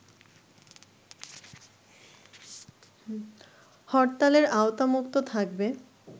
হরতালের আওতামুক্ত থাকবে